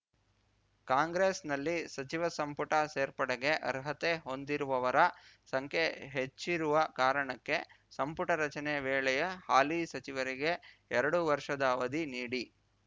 ಕಾಂಗ್ರೆಸ್‌ನಲ್ಲಿ ಸಚಿವ ಸಂಪುಟ ಸೇರ್ಪಡೆಗೆ ಅರ್ಹತೆ ಹೊಂದಿರುವವರ ಸಂಖ್ಯೆ ಹೆಚ್ಚಿರುವ ಕಾರಣಕ್ಕೆ ಸಂಪುಟ ರಚನೆ ವೇಳೆಯೇ ಹಾಲಿ ಸಚಿವರಿಗೆ ಎರಡು ವರ್ಷದ ಅವಧಿ ನೀಡಿ